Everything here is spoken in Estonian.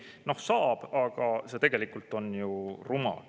Tegelikult saab, aga see on ju rumal.